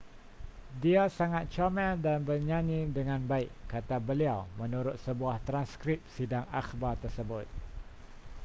dia sangat comel dan bernyanyi dengan baik kata beliau menurut sebuah transkrip sidang akhbar tersebut